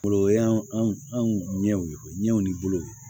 Fɔlɔ o y'an ɲɛw ye ɲɛw ni bolow ye